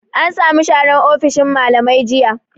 An samu sharan ofishin mallamai jiya